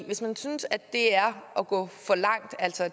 hvis man synes at det er at gå for langt altså i